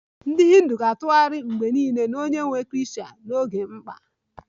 Ndị Hindu ga-atụgharị mgbe niile n'onyenwe Krishna n'oge mkpa